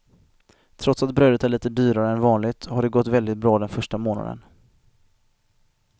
Trots att brödet är lite dyrare än vanligt har det gått väldigt bra den första månaden.